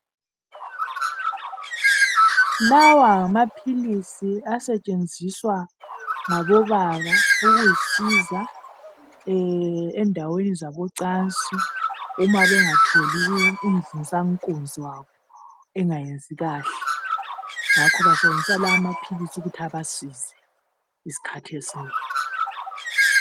Lawa ngamaphilisi asentshenziswa ngabobaba ukuzisiza endaweni zabocansi umabemgatholi umvusankunzi wabo engasebenzi kahle. Ngakho basebenzisa lawo maphilisi ukuthi abasize izikhathi ezinengi.